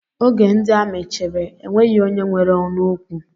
Oge ndị amị chịrị, enweghị onye nwere ọnụ okwu